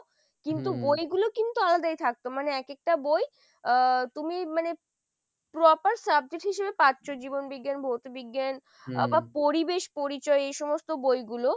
কিন্তু বই গুলো কিন্তু আলাদাই থাকতো মানে এক একটা বই আহ তুমি মানে proper subject হিসাবে পাচ্ছ জীবন বিজ্ঞান ভৌত বিজ্ঞান বা পরিবেশ পরিচয় এই সমস্ত বইগুলো,